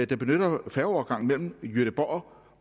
der benytter færgeovergangen mellem gøteborg